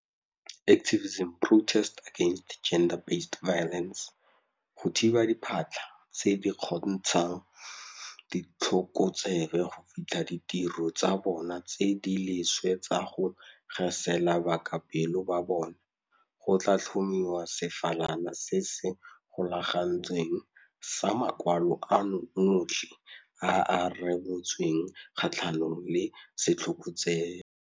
Go thiba diphatlha tse di kgontshang ditlhokotsebe go fitlha ditiro tsa bona tse di leswe tsa go gesela bakapelo ba bona, go tla tlhomiwa sefalana se se golagantsweng sa makwalo ano otlhe a a rebotsweng kgatlhanong le setlhokotsebe.